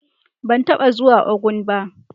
Ban taba zuwa Ogun ba.